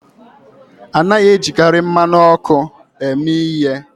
A naghị ejikarị mmanụ ọkụ eme ihe